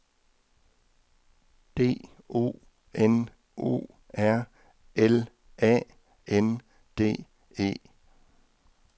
D O N O R L A N D E